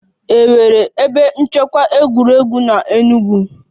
È nwere ebe nchekwa egwuregwu n'Enugwu?